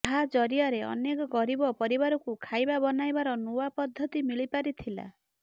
ଯାହା ଜରିଆରେ ଅନେକ ଗରିବ ପରିବାରକୁ ଖାଇବା ବନାଇବାର ନୂଆ ପଦ୍ଧତି ମିଳିପାରିଥିଲା